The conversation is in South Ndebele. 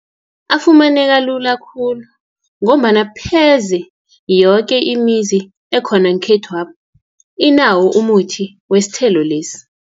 Afumaneka lula khulu, ngombana pheze yoke imizi ekhona ngekhethwapha, inawo umuthi wesithelo lesi.